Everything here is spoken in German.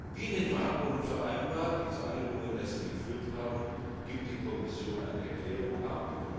Wie in den Verhandlungen vereinbart, die zur Einigung in erster Lesung geführt haben, gibt die Kommission eine Erklärung ab.